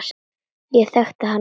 Ég þekkti hana strax.